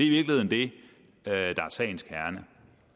i virkeligheden det der er sagens kerne